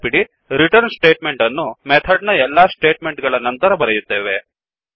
ನೆನಪಿಡಿreturnರಿಟರ್ನ್ಸ್ಟೇಟ್ ಮೆಂಟ್ ಅನ್ನು ಮೆಥಡ್ ನ ಎಲ್ಲಾ ಸ್ಟೇಟ್ ಮೆಂಟ್ ಗಳ ನಂತರ ಬರೆಯುತ್ತೇವೆ